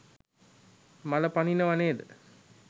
මල පනිනව නේද?